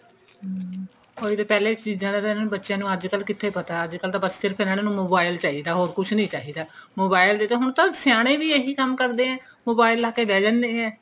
ਹਮ ਉਹੀ ਤਾਂ ਪਹਿਲਾ ਇਸ ਚੀਜਾਂ ਦਾ ਅੱਜਕਲ ਬੱਚੇ ਨੂੰ ਕਿੱਥੇ ਪਤਾ ਅੱਜਕਲ ਬਸ ਸਿਰਫ ਇਹਨਾਂ ਨੂ mobile ਚਾਹਿਦਾ ਹੋਰ ਕੁੱਛ ਨਹੀਂ ਚਾਹਿਦਾ mobile ਦੇ ਦੋ ਹੁਣ ਤਾਂ ਸਿਆਣੇ ਵੀ ਇਹੀ ਕੰਮ ਕਰਦੇ ਐ mobile ਲਾ ਕੇ ਬੈਹ ਜਾਂਦੇ ਨੇ